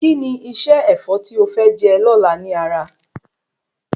Kí ni iṣẹ́ Ẹ̀fọ́ tí o fẹ je lóla ní ara?